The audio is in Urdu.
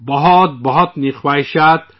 بہت بہت مبارکباد